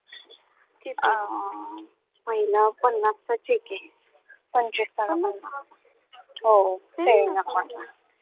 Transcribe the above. अं पहिला पन्नासचा check आहे. पंचवीस हो saving account ला